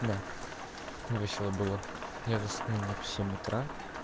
да весело было я заснул в семь утра